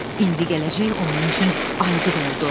İndi gələcək onun üçün aydın oldu.